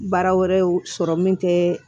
Baara wɛrɛw sɔrɔ min tɛ